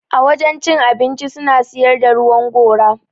A wajen cin abinci suna siyar da ruwan gora.